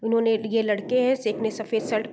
उन्होंने ये लड़के है एक ने सफेद शर्ट --